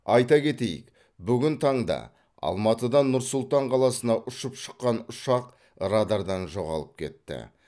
айта кетейік бүгін таңда алматыдан нұр сұлтан қаласына ұшып шыққан ұшақ радардан жоғалып кетті